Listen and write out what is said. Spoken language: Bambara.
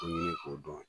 To ɲini k'o dɔn